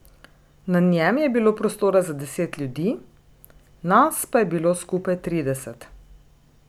Na njem je bilo prostora za deset ljudi, nas pa je bilo skupaj trideset.